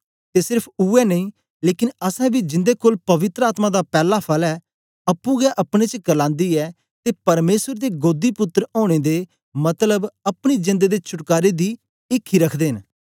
ते सेर्फ उवै नेई लेकन असैं बी जिन्दे कोल पवित्र आत्मा दा पैला फल ऐ अप्पुं गै अपने च क्रलांदी ऐ ते परमेसर दे गोदीपुत्र ओनें दे मतलब अपनी जेंद दे छुटकारे दी ईखी रखदे न